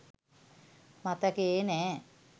මතකයේ නෑ.